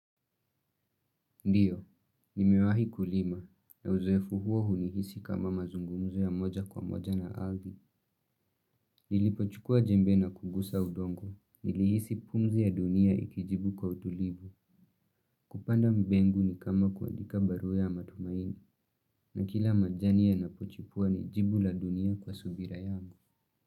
Ndiyo, nimewahi kulima na uzoefu huo hunihisi kama mazungumzo ya moja kwa moja na ardhi. Nilipochukua jembe na kugusa udongo. Nilihisi pumzi ya dunia ikijibu kwa utulivu. Kupanda mbegu ni kama kuandika barua ya matumaini na kila majani yanapochipua ni jibu la dunia kwa subira yangu.